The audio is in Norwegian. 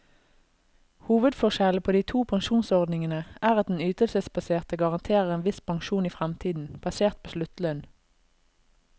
Hovedforskjellen på de to pensjonsordningene er at den ytelsesbaserte garanterer en viss pensjon i fremtiden, basert på sluttlønn.